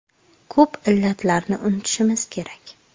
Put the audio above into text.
Ko‘p illatlarni unutishimiz kerak.